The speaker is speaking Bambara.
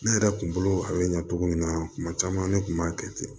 Ne yɛrɛ kun bolo a bɛ ɲa cogo min na tuma caman ne kun b'a kɛ ten